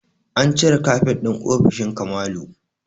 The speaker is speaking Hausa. An cire kafet ɗin ofishin Kamalu